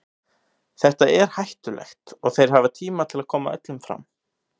Þetta er hættulegt og þeir hafa tíma til að koma öllum fram.